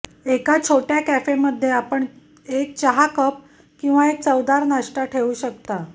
एका छोट्या कॅफेमध्ये आपण एक चहा कप किंवा एक चवदार नाश्ता ठेवू शकता